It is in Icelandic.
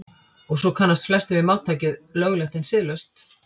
og svo kannast flestir við máltækið „löglegt en siðlaust“